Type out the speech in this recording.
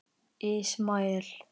Ismael